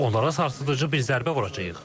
Onlara sarsıdıcı bir zərbə vuracağıq.